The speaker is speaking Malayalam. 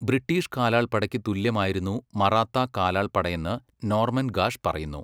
ബ്രിട്ടീഷ് കാലാൾപ്പടയ്ക്ക് തുല്യമായിരുന്നു മറാത്താ കാലാൾപ്പടയെന്ന് നോർമൻ ഗാഷ് പറയുന്നു.